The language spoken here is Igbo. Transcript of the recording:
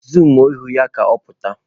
Zuumuo ihu ya ka ọ pụta!